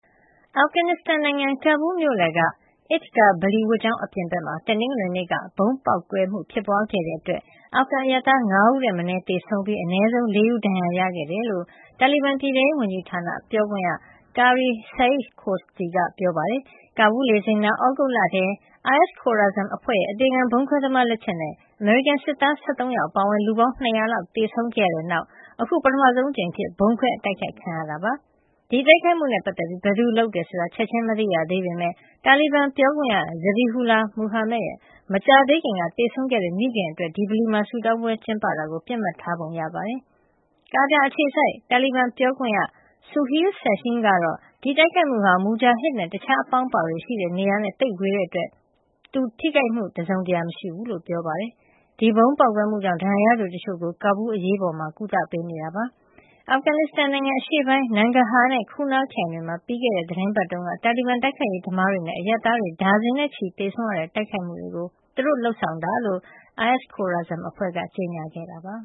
အာဖဂန်နစ္စတန်နိုင်ငံ ကာဘူးလ်မြို့လယ်က Eid Gah ဗလီဝတ်ကျောင်း အပြင်ဘက်မှာ တနင်္ဂနွေနေ့က ဗုံးပေါက်ကွဲမှု ဖြစ်ပွါးခဲ့တဲ့အတွက် အာဖဂန်အရပ်သား ၅ ဦးထက်မနည်း သေဆုံးပြီး အနည်းဆုံး ၄ ဦး ဒဏ်ရာရခဲ့တယ်လို့ တာလီဘန် ပြည်ထဲရေးဝန်ကြီးဌာန ပြောခွင့်ရ Qari Saeed Khosti က ပြောပါတယ်။ ကာဘူးလ်လေဆိပ်နားမှာ သြဂုတ်လထဲ အိုင်အက်စ် Khorasan အဖွဲ့ရဲ့ အသေခံဗုံးခွဲသမား လက်ချက်နဲ့ အမေရိကန်စစ်သား ၁၃ ယောက် အပါအဝင် လူပေါင်း ၂၀၀ လောက် သေဆုံးမှု ဖြစ်ပွါးခဲ့ပြီးတဲ့နောက် အခု ပထမဆုံးအကြိမ်အဖြစ် ဗုံးခွဲတိုက်ခိုက်ခံရတာ ဖြစ်ပါတယ်။ ဒီတိုက်ခိုက်မှုနဲ့ပတ်သက်ပြီး ဘယ်သူကလုပ်ဆောင်တယ်ဆိုတာ ချက်ချင်း မသိရသေးပေမယ့် တာလီဘန်ပြောခွင့်ရ Zabihullah Mujahid ရဲ့ မကြာသေးခင်က သေဆုံးခဲ့တဲ့ မိခင်အတွက် ဒီဗလီမှာ အထူးဆုတောင်းပွဲ ကျင်းပတာကို ပစ်မှတ်ထား တိုက်ခိုက်တဲ့ပုံ တွေ့ရပါတယ်။ ကာတာအခြေစိုက် တာလီဘန်ပြောခွင့်ရ Suhail Shaheen ကတော့ ဒီတိုက်ခိုက်မှုဟာ Mujahid နဲ့ တခြားအပေါင်းအပါတွေရှိတဲ့ နေရာနဲ့ သိပ်ဝေးတဲ့အတွက် Mujahid ထိခိုက်မှု တစုံတရာမရှိကြောင်း ပြောပါတယ်။ ဒီဗုံးပေါက်ကွဲမှုကြောင့် ဒဏ်ရာရသူတချို့ကို ကာဘူးလ် အရေးပေါ်ဌာနမှာ ကုသပေးနေပါတယ်။ အာဖဂန်နစ္စတန်နိုင်ငံ အရှေ့ပိုင်းက Nangarhar နဲ့ Kunar ခရိုင်တွေမှာ ပြီးခဲ့တဲ့ သီတင်းပတ်တုန်းက တာလီဘန် တိုက်ခိုက်ရေးသမားတွေနဲ့ အရပ်သားတွေ ဒါဇင်နဲ့ သေဆုံးခဲ့ရတဲ့ တိုက်ခိုက်မှုတွေကို သူတို့လုပ်ဆောင်တာဖြစ်ကြောင်း ISIS-K အဖွဲ့က ကြေညာခဲ့ပါ